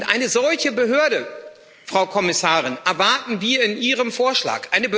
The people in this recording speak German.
Eine solche Behörde, Frau Kommissarin, erwarten wir in Ihrem Vorschlag.